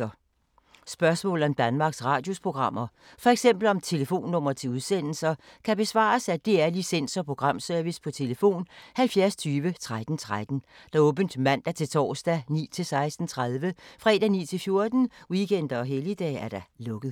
Spørgsmål om Danmarks Radios programmer, f.eks. om telefonnumre til udsendelser, kan besvares af DR Licens- og Programservice: tlf. 70 20 13 13, åbent mandag-torsdag 9.00-16.30, fredag 9.00-14.00, weekender og helligdage: lukket.